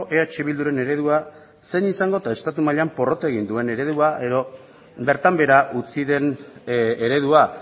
eh bilduren eredua zein izango eta estatu mailan porrot egin duen eredua edo bertan behera utzi den eredua